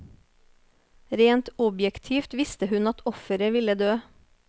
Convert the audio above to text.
Rent objektivt visste hun at offeret ville dø.